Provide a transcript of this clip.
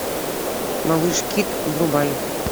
малыш кит врубай